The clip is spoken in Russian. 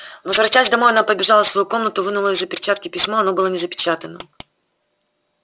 возвратясь домой она побежала в свою комнату вынула из-за перчатки письмо оно было не запечатано